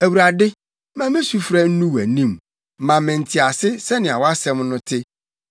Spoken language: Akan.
Awurade, ma me sufrɛ nnu wʼanim; ma me ntease sɛnea wʼasɛm no te.